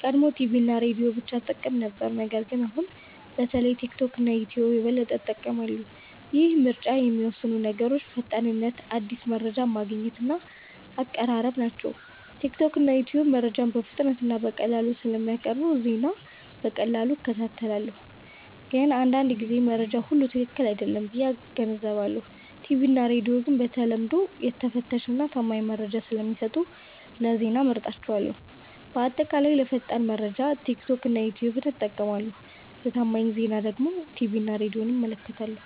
ቀድሞ ቲቪ እና ሬዲዮ ብቻ እጠቀም ነበር ነገር ግን አሁን በተለይ ቲክቶክ እና ዩትዩብ የበለጠ እጠቀማለሁ። ይህን ምርጫ የሚወስኑት ነገሮች ፈጣንነት አዲስ መረጃ ማግኘት እና አቀራረብ ናቸው። ቲክቶክ እና ዩትዩብ መረጃን በፍጥነት እና በቀላሉ ስለሚያቀርቡ ዜና በቀላሉ እከታተላለሁ። ግን አንዳንድ ጊዜ መረጃው ሁሉ ትክክል አይሆንም ብዬ እገነዘባለሁ። ቲቪ እና ሬዲዮ ግን በተለምዶ የተፈተሸ እና ታማኝ መረጃ ስለሚሰጡ ለዜና እመርጣቸዋለሁ። በአጠቃላይ ለፈጣን መረጃ ቲክቶክ እና ዩትዩብ እጠቀማለሁ ለታማኝ ዜና ግን ቲቪ እና ሬዲዮን እመለከታለሁ።